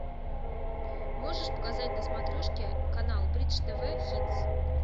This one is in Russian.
можешь показать на смотрешке канал бридж тв хитс